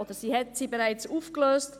oder sie hat sie bereits aufgelöst.